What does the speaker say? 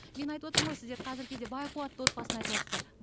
мен айтып отырмын ғой сіздер қазіргі кезде бай қуатты отбасыны айтыватсыздар